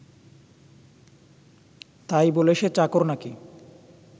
তাই বলে সে চাকর নাকি